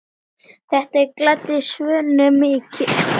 Þetta gladdi Svönu mikið.